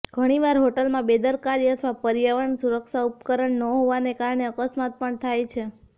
ઘણીવાર હોટલમાં બેદરકારી અથવા પર્યાવરણ સુરક્ષા ઉપકરણ ન હોવાને કારણે અકસ્માત પણ થાય છે